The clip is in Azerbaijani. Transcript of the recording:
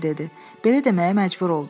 Belə deməyə məcbur oldu.